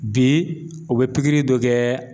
Bi u bɛ pikiri dɔ kɛ